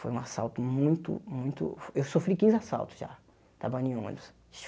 Foi um assalto muito, muito... Eu sofri quinze assaltos já, trabalhando em ônibus.